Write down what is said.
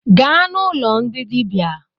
Gaa n’ụlọ ndị dịbia